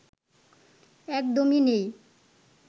একদমই নেই